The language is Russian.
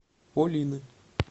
полины